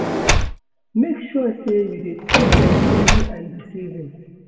Make sure sey you dey track your spending and di savings